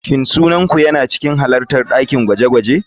Shin sunan ku yana cikin halartar dakin gwaje-gwaje?